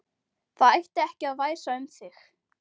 Það ætti ekki að væsa um þig.